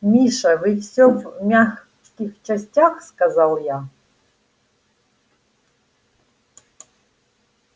миша вы всё в мягких частях сказал я